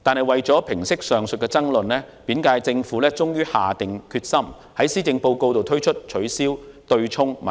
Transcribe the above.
為平息上述爭論，本屆政府終於下定決心，在施政報告中公布方案解決取消對沖的問題。